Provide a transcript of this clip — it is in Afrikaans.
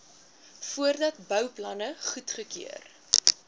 voordat bouplanne goedgekeur